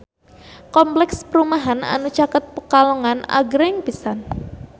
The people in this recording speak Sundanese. Kompleks perumahan anu caket Pekalongan agreng pisan